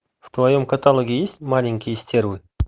в твоем каталоге есть маленькие стервы